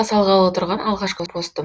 салғалы тұрған алғашқы постым